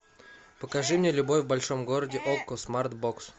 покажи мне любовь в большом городе окко смарт бокс